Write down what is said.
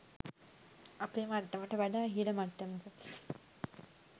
අපේ මට්ටමට වඩා ඉහල මට්ටමක